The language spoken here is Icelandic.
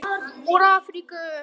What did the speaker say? Úr Afríku!